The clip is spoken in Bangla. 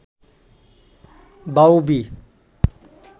বাউবি